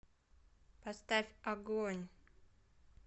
поставь агонь